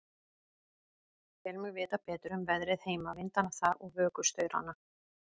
Tel mig vita betur um veðrið heima, vindana þar og vökustaurana.